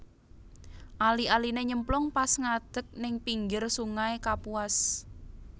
Ali aline nyemplung pas ngadeg ning pinggir sungai Kapuas